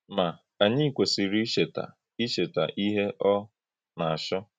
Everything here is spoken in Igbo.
Ma, ànyí kwèsìrì íchèta íchèta íhè ọ̀ na-àchọ́.